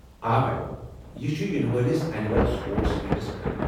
آ میڈم، یہ چھُ ینہٕ وٲلس اینِول سپورٹس میٖٹس متعلق۔